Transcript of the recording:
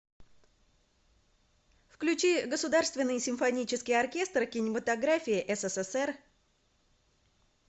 включи государственный симфонический оркестр кинематографии ссср